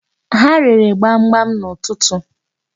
Ha rere gbamgbam n'ụtụtụ.